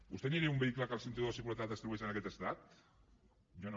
vostè aniria en un vehicle en què el cinturó de seguretat es trobés en aquest estat jo no